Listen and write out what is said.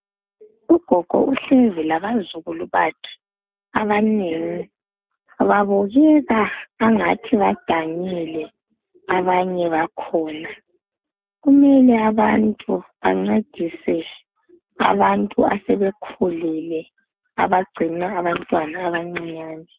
ugogo uhlezi abazukulu bakhe abanengi babukeka engathi badanile abanye bakhona kumele abantu bancedise abantu asebekhulile abacina abantwana abancinyane